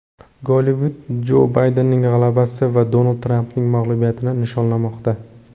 Gollivud Jo Baydenning g‘alabasi va Donald Trampning mag‘lubiyatini nishonlamoqda.